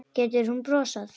Getur hún brosað?